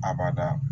Abada